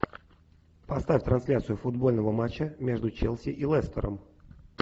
поставь трансляцию футбольного матча между челси и лестером